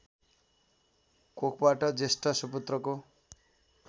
कोखबाट जेष्ठ सुपुत्रको